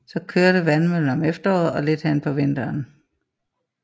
Så kørte vandmøllen om efteråret og lidt hen på vinteren